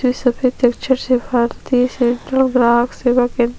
इसमें सफेद अक्षर से भारतीय सेंट्रल ग्राफ सेवा केंद्र--